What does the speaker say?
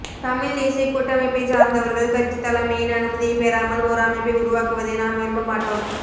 தமிழ்த் தேசியக் கூட்டமைப்பைச் சார்ந்தவர்கள் கட்சித் தலைமையின் அனுமதியைப் பெறாமல் ஓர் அமைப்பை உருவாக்குவதை நாம் விரும்பமாட்டோம்